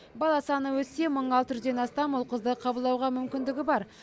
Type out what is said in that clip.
бала саны өссе мың алты жүзден астам ұл қызды қабылдауға мүмкіндігі бар